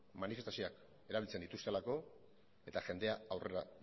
manifestazioak erabiltzen dituztelako eta jendea aurrera